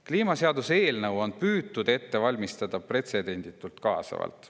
Kliimaseaduse eelnõu on püütud ette valmistada pretsedenditult kaasavalt.